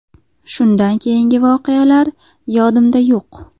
Shundan keyingi voqealar yodimda yo‘q.